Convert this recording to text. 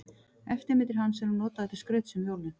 Eftirmyndir hans eru notaðar til skrauts um jólin.